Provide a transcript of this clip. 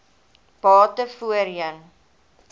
bate voorheen